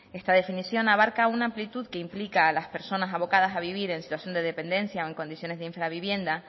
esta definición abarca una amplitud que implica a las personas abocadas a vivir en situación de dependencia o en condiciones de infravivienda